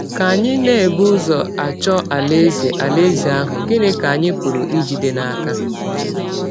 Ka anyị na - ebụ ụzọ achọ Alaeze Alaeze ahụ, gịnị ka anyị pụrụ ijide n’aka?